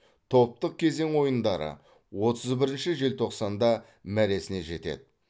топтық кезең ойындары отыз бірінші желтоқсанда мәресіне жетеді